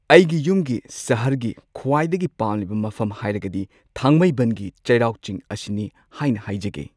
ꯑꯩꯒꯤ ꯌꯨꯝꯒꯤ ꯁꯍꯔꯒꯤ ꯈ꯭ꯋꯥꯏꯗꯒꯤ ꯄꯥꯝꯂꯤꯕ ꯃꯐꯝ ꯍꯥꯏꯔꯒꯗꯤ ꯊꯥꯡꯃꯩꯕꯟꯒꯤ ꯆꯩꯔꯥꯎ ꯆꯤꯡ ꯑꯁꯤꯅꯤ ꯍꯥꯏꯅ ꯍꯥꯏꯖꯒꯦ꯫